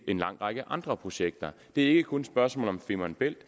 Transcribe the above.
en lang række andre projekter det er ikke kun et spørgsmål om femern bælt